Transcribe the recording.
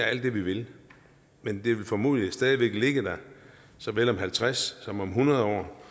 alt det vi vil men det vil formodentlig stadig væk ligge der såvel om halvtreds som om hundrede år